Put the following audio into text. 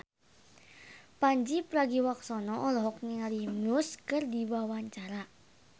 Pandji Pragiwaksono olohok ningali Muse keur diwawancara